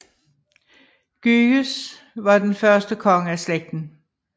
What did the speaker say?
Gyges var den første konge af i slægten